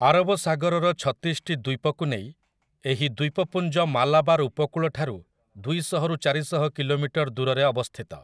ଆରବ ସାଗରର ଛତିଶଟି ଦ୍ୱୀପକୁ ନେଇ ଏହି ଦ୍ୱୀପପୁଞ୍ଜ ମାଲାବାର୍ ଉପକୂଳଠାରୁ ଦୁଇଶହରୁ ଚାରିଶହ କିଲୋମିଟର ଦୂରରେ ଅବସ୍ଥିତ ।